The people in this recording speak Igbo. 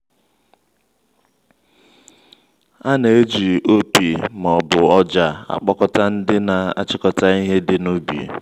a na-eji opi ma ọbu ọja akpọkọta ndị na achịkọta ihe dị n'ubi